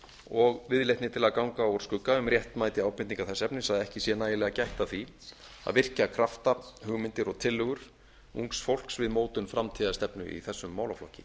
og viðleitni til að ganga úr skugga um réttmæti ábendinga þess efnis að ekki sé nægilega gætt að því að virkja krafta hugmyndir og tillögur ungs fólks við mótun framtíðarstefnu í þessum málaflokki